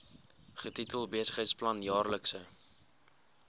getitel besigheidsplan jaarlikse